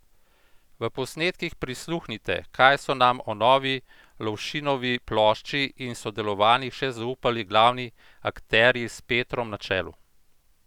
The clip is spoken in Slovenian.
V posnetkih prisluhnite, kaj so nam o novi Lovšinovi plošči in sodelovanjih še zaupali glavni akterji s Petrom na čelu!